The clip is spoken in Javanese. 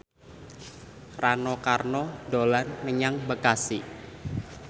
Rano Karno dolan menyang Bekasi